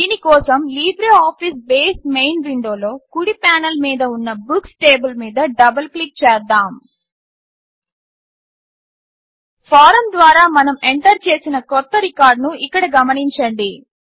దీని కోసం LibreOffice base main విండోలో కుడి పానెల్ మీద ఉన్న బుక్స్ టేబుల్ మీద డబుల్ క్లిక్ చేద్దాము ఫారమ్ ద్వారా మనం ఎంటర్ చేసిన క్రొత్త రికార్డ్ను ఇక్కడ గమనించండి